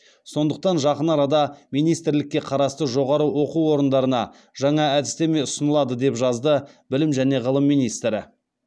сондықтан жақын арада министрлікке қарасты жоғары оқу орындарына жаңа әдістеме ұсынылады деп жазды білім және ғылым министрі